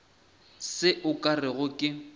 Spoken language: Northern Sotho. se o ka rego ke